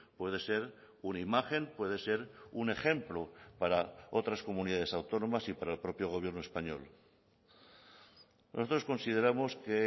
puede ser una imagen puede ser un ejemplo para otras comunidades autónomas y para el propio gobierno español nosotros consideramos que